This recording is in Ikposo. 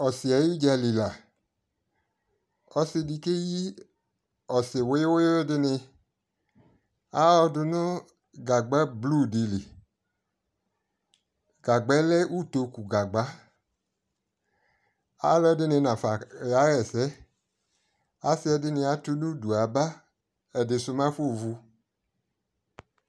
ɔse ayi udzali la ko ɔsi de keyi ɔse wiyowiyo dene ayɔ do no gagba blue di li, gagbae lɛ utoku gagba alɔɛdini nafa kayɛsɛ ase ɛde ato udu yaba, ediso mɛ afovu